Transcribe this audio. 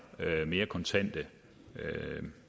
mere kontante